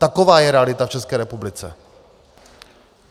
Taková je realita v České republice.